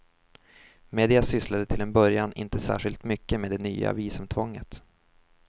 Media sysslade till en början inte särskilt mycket med det nya visumtvånget.